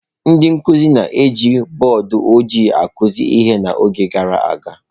Ndị nkụzi na-eji bọọdụ ojịi akụzi ihe n’oge gara aga.